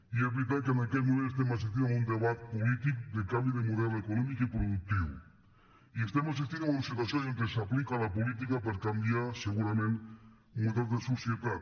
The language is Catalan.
i és veritat que en aquest moment estem assistint a un debat polític de canvi de model econòmic i productiu i estem assistint a una situació on s’aplica la política per canviar segurament models de societat